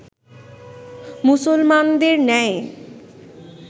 মুসলমানদের ন্যায়